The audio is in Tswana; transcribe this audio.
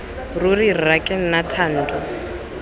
ruri rra ke nna thando